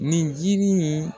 Nin jinin in